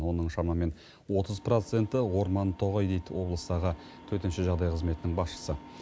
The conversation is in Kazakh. оның шамамен отыз проценті орман тоғай дейді облыстағы төтенше жағдай қызметінің басшысы